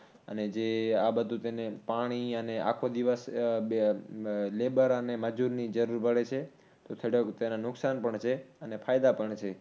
અને જે આ બધુ તેને પાણી, અને આખો દિવસ labor અને મજૂરની જરૂર પડે છે. તો થોડાક તેના નુકસાન પણ છે અને ફાયદા પણ છે